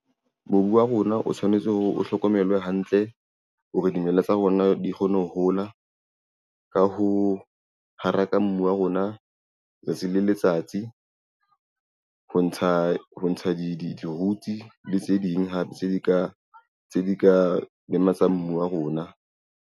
Mobu wa rona o tshwanetse hore o hlokomelwe hantle hore dimela tsa rona di kgone ho hola ka ho haraka mbu wa rona letsatsi le letsatsi. Ho ntsha di roots le tse ding hape tse di ka lematsa mbu wa rona.